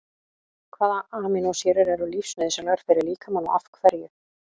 Hvaða amínósýrur eru lífsnauðsynlegar fyrir líkamann og af hverju?